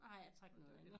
Nej jeg trak noget andet